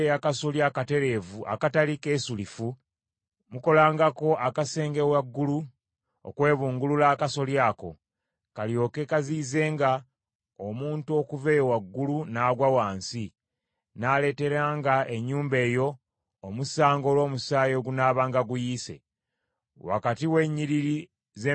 Wakati w’ennyiriri z’emizabbibu temusimbangamu mmere ya ngeri ndala, bwe munaakikolanga, ebibala by’emizabbibu n’eby’emmere gye munaabanga musimbyemu, byombi munaabifiirwanga.